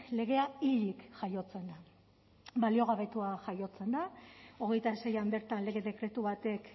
legea hilik jaiotzen da baliogabetua jaiotzen da hogeita seian bertan lege dekretu batek